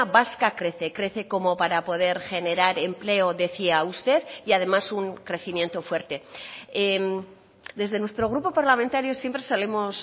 vasca crece crece como para poder generar empleo decía usted y además un crecimiento fuerte desde nuestro grupo parlamentario siempre solemos